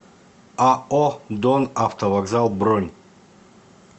ао донавтовокзал бронь